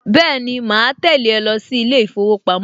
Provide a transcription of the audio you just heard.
Bẹ́ẹ̀ni, màá tẹ̀lé ẹ lọ sí ilé ìfowópamọ́